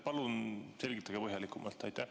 Palun selgitage põhjalikumalt!